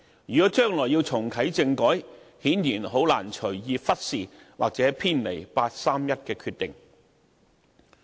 如果將來要重啟政改，顯然很難隨意忽視或偏離八三一決定。